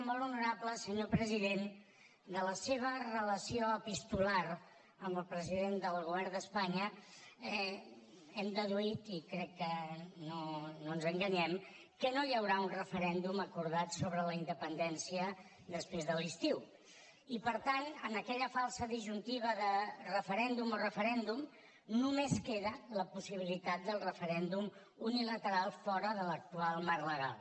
molt honorable senyor president de la seva relació epistolar amb el president del govern d’espanya hem deduït i crec que no ens enganyem que no hi haurà un referèndum acordat sobre la independència després de l’estiu i per tant en aquella falsa disjuntiva de referèndum o referèndum només queda la possibilitat del referèndum unilateral fora de l’actual marc legal